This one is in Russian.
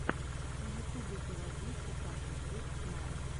в ютубе заводи текаши сикс найн